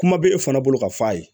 Kuma bɛ e fana bolo k'a f'a ye